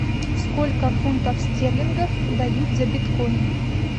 сколько фунтов стерлингов дают за биткоин